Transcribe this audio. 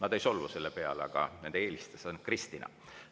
Nad ei solvu peale, aga nende eelistus on Kristina.